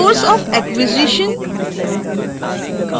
source of acquisition